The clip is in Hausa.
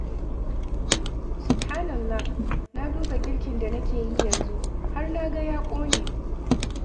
Subhanallah! Na duba girkin da nake yi yanzu, har na ga ya ƙone!